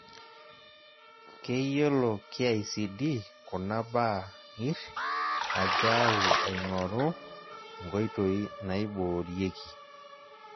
Keyiolo KICD kuna baa ngirr ajao aing'oru nkoitoiii naiboorieki.